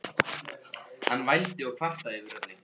Hann vældi og kvartaði yfir öllu.